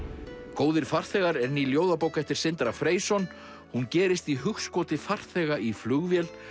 góðir farþegar er ný ljóðabók eftir Sindra Freysson hún gerist í hugskoti farþega í flugvél